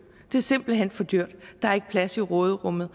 det er simpelt hen for dyrt der er ikke plads i råderummet